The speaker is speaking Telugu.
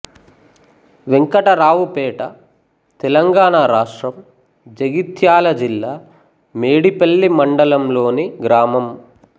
వెంకటరావుపేట తెలంగాణ రాష్ట్రం జగిత్యాల జిల్లా మేడిపల్లి మండలంలోని గ్రామం